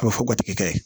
A bɛ fɔ gatigi kɛ